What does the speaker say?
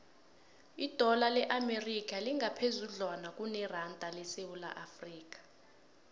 idola le amerika lingaphezudlwana kuneranda yesewula afrika